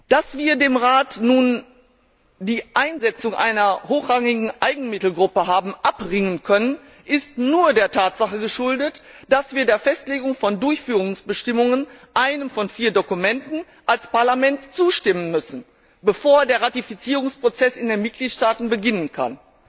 Dass wir dem Rat nun die Einsetzung einer hochrangigen Eigenmittelgruppe haben abringen können, ist nur der Tatsache geschuldet, dass wir der Festlegung von Durchführungsbestimmungen einem von vier Dokumenten als Parlament zustimmen müssen, bevor der Ratifizierungsprozess in den Mitgliedstaaten beginnen kann.